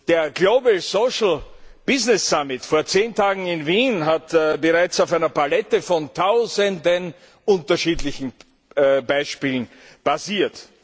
Der Global Social Business Summit vor zehn Tagen in Wien hat bereits auf einer Palette von Tausenden unterschiedlicher Beispiele basiert.